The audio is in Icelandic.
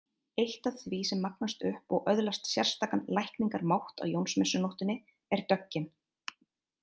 Eitt af því sem magnast upp og öðlast sérstakan lækningamátt á Jónsmessunóttinni er döggin.